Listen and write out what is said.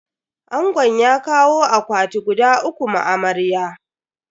Angon ya kawo akwati guda uku ma amarya.